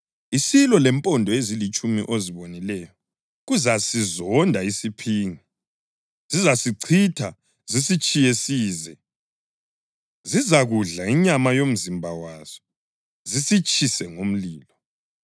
Isilo lempondo ezilitshumi ozibonileyo kuzasizonda isiphingi. Zizasichitha zisitshiye size; zizakudla inyama yomzimba waso zisitshise ngomlilo.